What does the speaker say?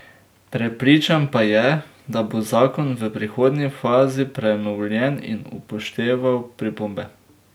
Prepričan pa je, da bo zakon v prihodnji fazi prenovljen in upošteval pripombe.